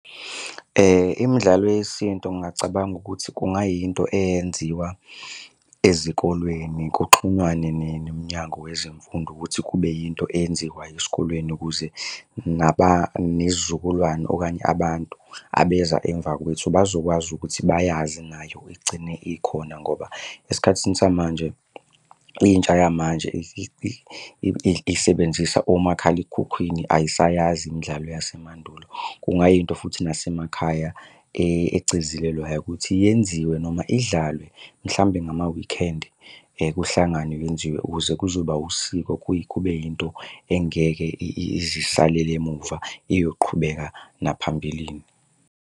Imidlalo yesintu ngingacabanga ukuthi kungayinto eyenziwa ezikolweni, kuxhunywane neminyango wezemfundo ukuthi kube yinto eyenziwayo esikolweni ukuze nezizukulwane okanye abantu abeza emva kwethu bazokwazi ukuthi bayazi nayo igcine ikhona ngoba esikhathini samanje intsha yamanje isebenzisa omakhalekhukhwini ayisayazi imidlalo yasemandulo. Kungayinto futhi nasemakhaya egcizelelwayo ukuthi yenziwe noma idlalwe mhlawumbe ngama-weekend kuhlanganwe kwenziwe ukuze kuzoba usiko kuye kube yinto engeke ize isalele emuva iyoqhubeka naphambilini.